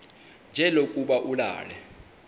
nje lokuba ulale